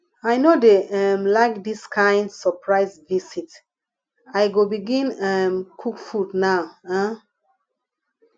i no dey um like dis kain surprise visit i go begin um cook food now um